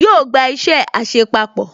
Yóò gba isẹ àṣepapọ̀